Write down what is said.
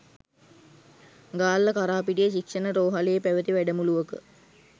ගාල්ල කරාපිටිය ශික්ෂණ රෝහලේ පැවති වැඩමුළුවක